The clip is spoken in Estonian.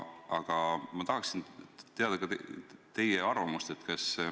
Aga ma tahaksin teada ka teie arvamust.